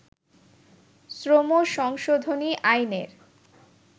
শ্রম সংশোধনী আইনের